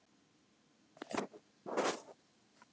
Já, oft